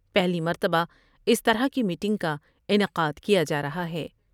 پہلی مرتبہ اس طرح کی میٹنگ کا انعقاد کیا جارہا ہے ۔